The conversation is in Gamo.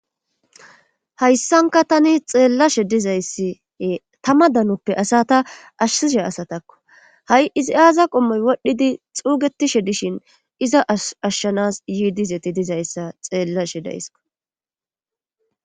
Hayssanka tani xeellashe dizayssiee tama danoppe asata ashsishe asatakko ha7i izi aaza qommoy wodhdhidi xuugetishe dishin iza ashshanas yiidizeti dizayssa xeellashe daysko.